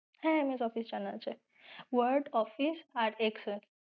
হ্যাঁ MS Office জানা আছে, Word, Office আর Excel